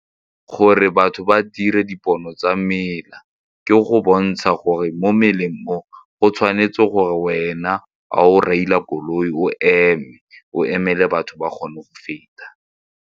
Gore batho ba dire dipono tsa mela, ke go bontsha gore mo mmileng mo go tshwanetse gore wena ga o reila koloi o eme, o emele batho ba kgone go feta.